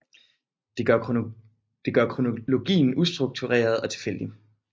Det gør kronologien ustruktureret og tilfældig